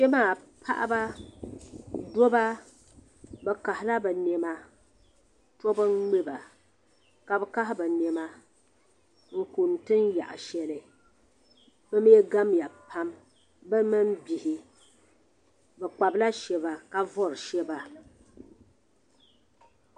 Kpɛ maa paɣiba dabba bi kahi la bi nɛma tobu n ŋmɛba ka bi lahi bi nɛma n kuni tiŋ shɛli bi mi gamya pam bi mini bihi bi kpabila shɛba ka vori shɛba.